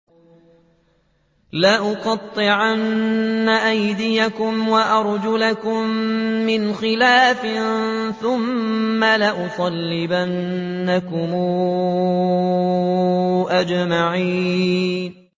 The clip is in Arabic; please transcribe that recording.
لَأُقَطِّعَنَّ أَيْدِيَكُمْ وَأَرْجُلَكُم مِّنْ خِلَافٍ ثُمَّ لَأُصَلِّبَنَّكُمْ أَجْمَعِينَ